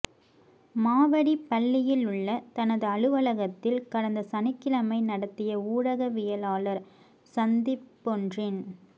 மாவடிப்பள்ளியிலுள்ள தனது அலுவலகத்தில் கடந்த சனிக்கிழமை நடத்திய ஊடக வியலாளர் சந்திப்பொன்றின்